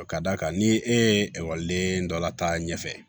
Ka d'a kan ni e ye ekɔliden dɔ la ta ɲɛfɛ